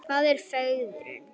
Hvað er fegurðin?